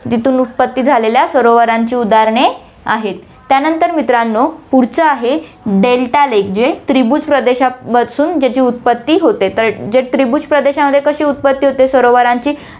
जिथून उत्पत्ति झालेल्या सरोवरांची उदाहरणे आहेत, त्यानंतर मित्रांनो, पुढच्या आहेत, delta lake जे त्रिभुज प्रदेशापासून ज्याची उत्पत्ति होते, तर जे त्रिभुज प्रदेशामध्ये कशी उत्पत्ति होते सरोवरांची